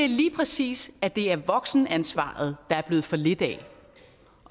lige præcis at det er voksenansvaret der er blevet for lidt af